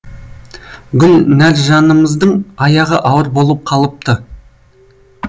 гүлнәржанымыздың аяғы ауыр болып қалыпты